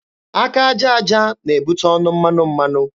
Aka aja aja na-ebute ọnụ mmanụ mmanụ.